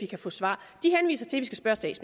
kan få svar de henviser til